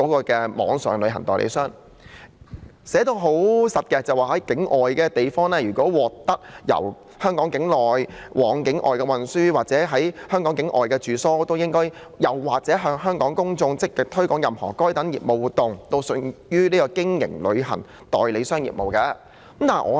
條文寫得相當具體，就是如果任何人在香港境外地方獲取由香港境內往境外的運輸或在香港境外的住宿，或是向香港的公眾積極推廣任何該等業務活動，均屬於經營旅行代理商業務。